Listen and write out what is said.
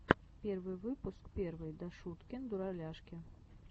первый выпуск первый дашуткин дураляшки